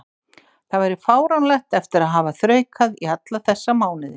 Það væri fáránlegt eftir að hafa þraukað í alla þessa mánuði.